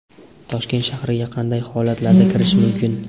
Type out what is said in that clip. Toshkent shahriga qanday holatlarda kirish mumkin?.